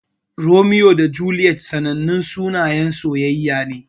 Romeo da Juliet sanannun sunayen soyayya ne.